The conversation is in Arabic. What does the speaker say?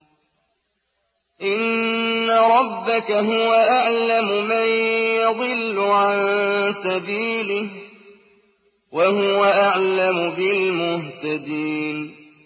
إِنَّ رَبَّكَ هُوَ أَعْلَمُ مَن يَضِلُّ عَن سَبِيلِهِ ۖ وَهُوَ أَعْلَمُ بِالْمُهْتَدِينَ